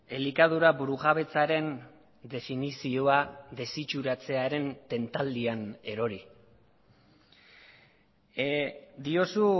elikadura burujabetzaren definizioa desitxuratzearen tentaldian erori diozu